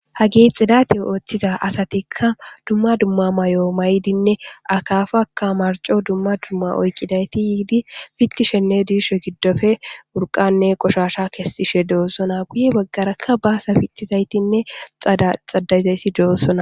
ha gixidate ooththiza asatikka dumma dumma mayo maydinne akafaka marco dumma dumma oykidayti yiidi pittishenne diisho giddoppe murqanne qoshasha kessishe dosona guye baggarakka baasa pittizaytinne xadayzayssi doossona